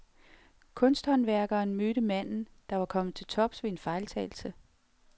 Kunsthåndværkeren mødte manden, der var kommet til tops ved en fejltagelse.